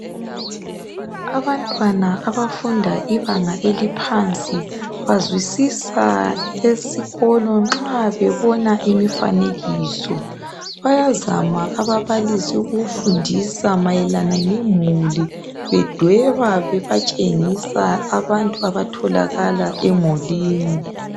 Abantwana abafunda ibanga eliphansi bazwisisa esikolo nxa bebona imifanekiso bayazama ababalisi ukufundisa mayelana ngemuli bedweba bebatshengisa abantu abathokakala emulini.